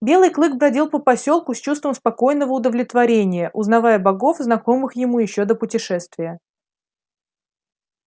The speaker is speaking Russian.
белый клык бродил по посёлку с чувством спокойного удовлетворения узнавая богов знакомых ему ещё до путешествия